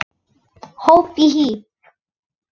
Hopp og hí